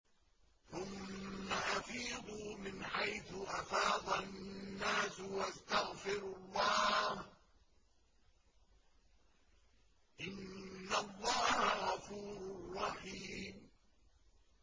ثُمَّ أَفِيضُوا مِنْ حَيْثُ أَفَاضَ النَّاسُ وَاسْتَغْفِرُوا اللَّهَ ۚ إِنَّ اللَّهَ غَفُورٌ رَّحِيمٌ